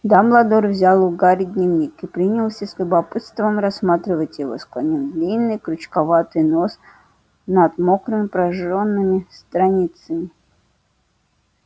дамблдор взял у гарри дневник и принялся с любопытством рассматривать его склонив длинный крючковатый нос над мокрыми прожжёнными страницами